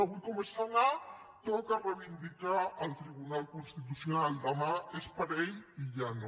avui com és senar toca reivindicar el tribunal constitucional demà és parell i ja no